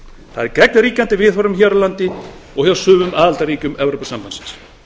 það er gegn ríkjandi viðhorfum hér á landi og hjá sumum aðildarríkjum evrópusambandsins